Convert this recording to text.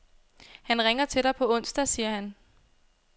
Han ringer til dig på onsdag, siger han.